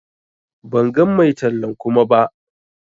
Ban gan mai tallan Kuma ba.